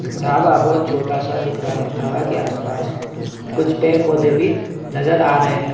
ढाबा बहुत छोटा सा दिख रहा है ढाबा के आसपास कुछ पेड़-पौधे भी नजर आ रहे है।